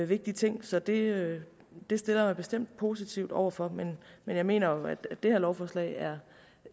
vigtig ting så det det stiller jeg mig bestemt positivt over for men jeg mener jo at det her lovforslag er